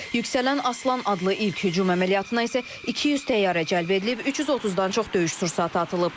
Yüksələn Aslan adlı ilk hücum əməliyyatına isə 200 təyyarə cəlb edilib, 330-dan çox döyüş sursatı atılıb.